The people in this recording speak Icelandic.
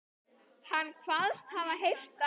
Hann kvaðst hafa heyrt að